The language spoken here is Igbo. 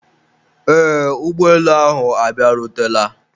eee, ụgbọelu ahụ abịarutela